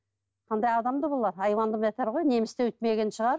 қандай адамдар бұлар айуаннан бетер ғой неміс те өйтпеген шығар